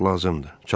Yox, lazımdır.